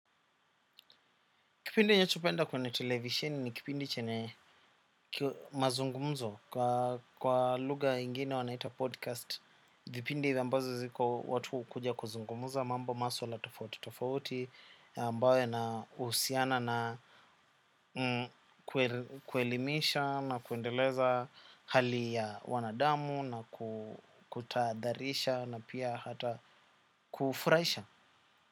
Kipindi ninachopenda kwenye televisheni ni kipindi chenye mazungumzo kwa lugha ingine wanaita podcast. Vipindi ambazo ziko watu hukuja kuzungumuza mambo maswala tofauti tofauti ambayo yanahusiana na kuelimisha na kuendeleza hali ya wanadamu, na kutadharisha na pia hata kufurahisha.